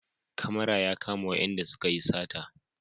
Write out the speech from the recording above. Kamara ya kama wayanda suka yi sata